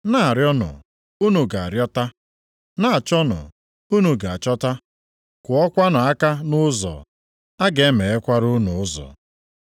“Na-arịọnụ, unu ga-arịọta, na-achọnụ, unu ga-achọta, kụọkwanụ aka nʼụzọ, a ga-emeghekwara unu ụzọ.